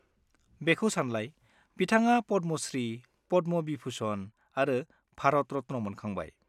बेखौ सानलाय, बिथाङा पद्म श्री, पद्म विभुषण आरो भारत रत्न मोनखांबाय।